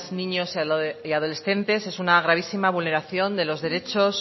niños y adolescentes es una gravísima vulneración de los derechos